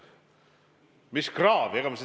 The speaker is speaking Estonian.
Mis kraav?